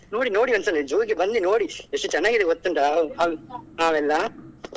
ನೋಡಿ ನೋಡಿ ಒಂದ್ ಸಲ zoo ಗೆ ಬನ್ನಿ ನೋಡಿ ಎಷ್ಟು ಚನ್ನಾಗಿದೆ ಗೊತ್ತುಂಟಾ ಹಾವೆಲ್ಲ.